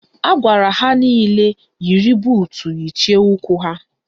Agwara ha nile yiri buutu yichie ụkwụ ha